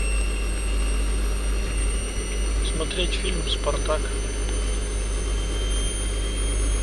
смотреть фильм спартак